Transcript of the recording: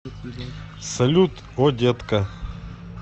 салют о детка